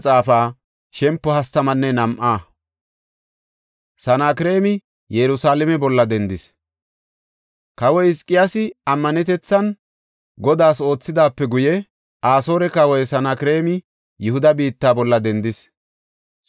Kawoy Hizqiyaasi ammanetethan Godaas oothidaape guye Asoore kawoy Sanakreemi Yihuda biitta bolla dendis; xoonidi baw ekanaw qopidi gimbetida katamata teqis.